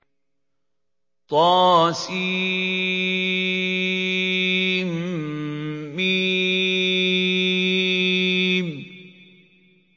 طسم